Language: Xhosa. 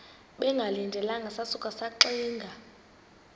bengalindelanga sasuka saxinga